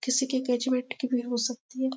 किसी की ग्रेजुएट की भी हो सकती है।